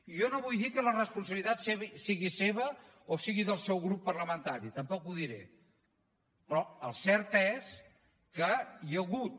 i jo no vull dir que la responsabilitat sigui seva o sigui del seu grup parlamentari tampoc ho diré però el cert és que hi ha hagut